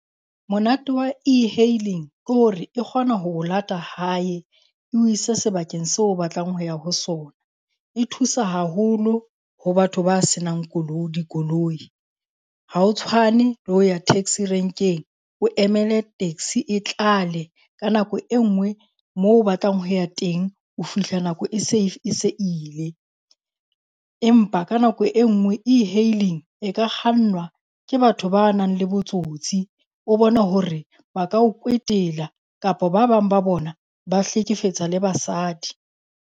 Monate wa e-hailing ke hore e kgona ho o lata hae o ise sebakeng seo o batlang ho ya ho sona. E thusa haholo ho batho ba senang dikoloi. Ha ho tshwane le ho ya taxi rank-eng, o emele taxi e tlale. Ka nako e nngwe moo o batlang ho ya teng o fihla nako e se e se ile. Empa ka nako e nngwe e-hailing e ka kgannwa ke batho ba nang le botsotsi, o bone hore ba ka o kwetela kapa ba bang ba bona ba hlekefetsa le basadi.